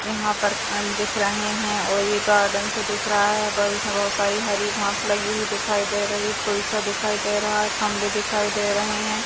यहां पर पान दिख रहे है और ये गार्डन सा दिख रहा है और इसमें बहुत सारी हरी घास लगी हुई दिखाई दे रही फूल सा दिखाई दे रहा है खंभे दिखाई दे रहे है।